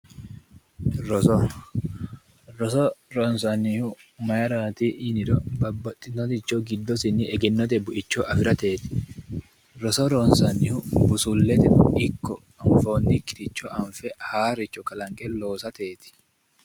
Roso, roso ronsannihu maarati yinniro babbaxitinoricho giddosinni egennote buicho afirateti roso ronsannihu busuleteno ikko anfonikkiricho anfe haaroricho kalanqe loossateti.